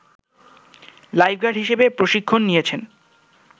lifeguard হিসেবে প্রশিক্ষণ নিয়েছেন